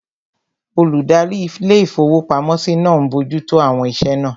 Olùdarí ilé-ìfowópamọ́sí náà n bojú tó àwọn iṣẹ́ náà